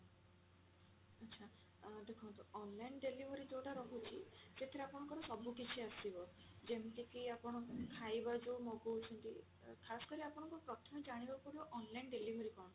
ଆଚ୍ଛା ଆଁ ଦେଖନ୍ତୁ online delivery ଯଉଟା ରହୁଛି ସେଥିରେ ଆପଣଙ୍କର ସବୁ କିଛି ଆସିବ ଯେମିତି କି ଆପଣ ଖାଇବା ଯଉ ମଗଉଛନ୍ତି ଖାସ୍ କରି ଆପଣଙ୍କୁ ପ୍ରଥମେ ଜାଣିବାକୁ ପଡିବ online delivery କଣ